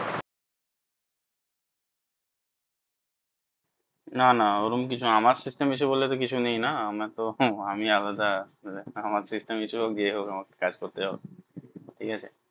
না না ওরম কিছু না আমার system issue এ বলে কিছু নেই না আমার তো হম আমি আলাদা আমার system issue হোক যে হোক আমাকে কাজ করতেই হবে ঠিক আছে।